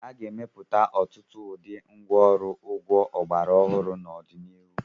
A ga-emepụta ọtụtụ ụdị ngwa ọrụ ugbo ọgbara ọhụrụ n'ọdịnihu.